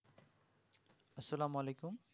আসালাম ওয়ালাইকুম